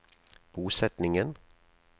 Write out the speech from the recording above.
bosetningen